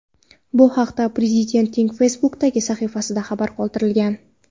Bu haqda Prezidentning Facebook’dagi sahifasida xabar qoldirilgan .